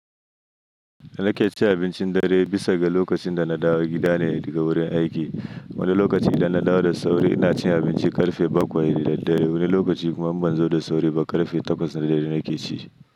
Na ke cin abincin dare bisa ga lokacin da na dawo gida ne daga wurin aiki. Wani lokaci idan na dawo da sauri ina cin abinci karfe bakwai da dare, wani lokaci kuma in ban zo da sauri ba karfe takwas na dare na ke ci.